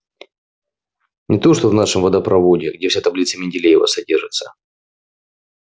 не то что в нашем водопроводе где вся таблица менделеева содержится